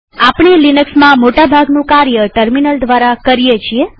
આપણે લિનક્સમાં મોટા ભાગનું કાર્ય ટર્મિનલ દ્વારા કરીએ છીએ